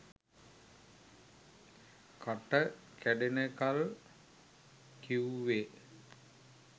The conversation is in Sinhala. කට කැඩෙනකල් කිව්වේ